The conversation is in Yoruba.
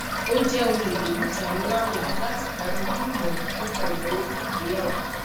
o jẹ ohun ipenija nla nla lati gbani ni imọran nipa inawo fun igbeyawo